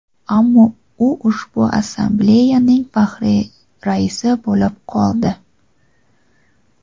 ammo u ushbu assambleyaning faxriy raisi bo‘lib qoldi.